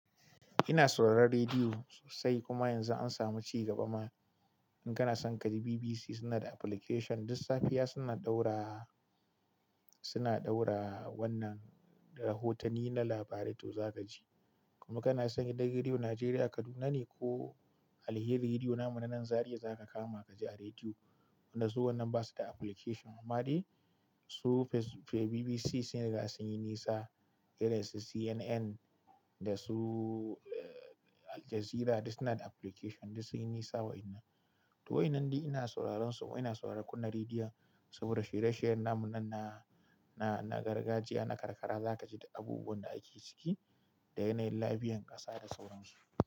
Ina sauraron rediyo sosai kuma yanzu an samu ci gaba ma. In kana son ka ji BBC suna da application, duk safiya suna ɗaura suna ɗaura wannan rahotanni na labarai to za ka ji. Kuma kana son gidan Rediyo Najeriya Kaduna ne ko Alheri Rediyo namu na nan Zariya za ka kama ka ji a rediyo, wanda su wannan ba su da application amma dai su fac BBC sun riga sun yi nisa, irin su CNN da su Al Jazeera duk suna da application duk sun yi nisa wa'inan. To wa'innan dai ina sauraron su, ina sauraron kunna rediyo saboda shirye-shiryen namu nan na na gargajiya na karkara za ka ji du abubuwan da ake ciki da yanayin labiyan ƙasa da sauran su.